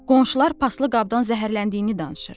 Qonşular paslı qabdan zəhərləndiyini danışır.